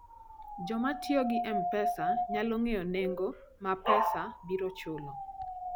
Joma tiyo gi M-Pesa nyalo ng'eyo nengo ma M-Pesa biro chulo.